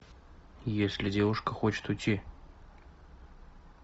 если девушка хочет уйти